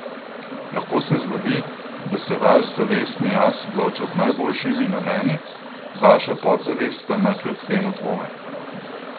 Lahko se zgodi, da se vaš zavestni jaz odloča z najboljšimi nameni, vaša podzavest pa ima kljub temu dvome.